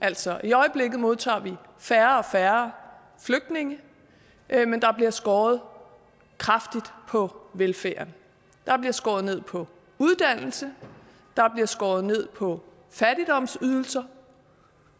altså i øjeblikket modtager vi færre og færre flygtninge men der bliver skåret kraftigt på velfærden der bliver skåret ned på uddannelse og der bliver skåret ned på ydelser